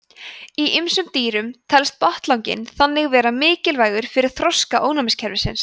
í ýmsum dýrum telst botnlanginn þannig vera mikilvægur fyrir þroska ónæmiskerfisins